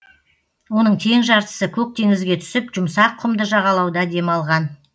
оның тең жартысы көк теңізге түсіп жұмсақ құмды жағалауда демалған